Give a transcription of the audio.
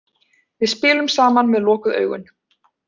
Við spilum saman með lokuð augun.